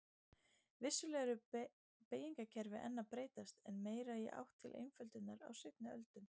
Vissulega eru beygingakerfi enn að breytast en meira í átt til einföldunar á seinni öldum.